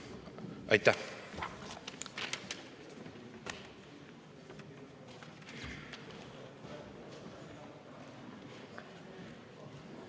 Aitäh!